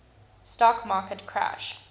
stock market crash